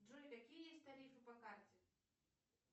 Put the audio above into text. джой какие есть тарифы по карте